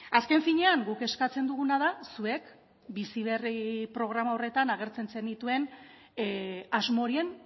azken finean guk eskatzen duguna da zuek bizi berri programa horretan agertzen zenituen asmo horien